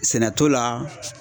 Sɛnɛ t'o la